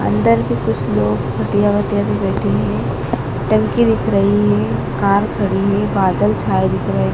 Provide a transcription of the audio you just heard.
अंदर भी कुछ लोग खटिया वटिया पे बैठे हैं टंकी दिख रही है कार खड़ी है बादल छाए दिख रहे--